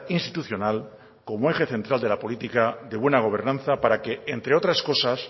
institucional como eje central de la política de buena gobernanza para que entre otras cosas